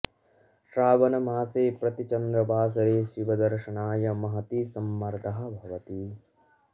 श्रावण मासे प्रति चन्द्रवासरे शिव दर्शनाय महती सम्मर्दः भवति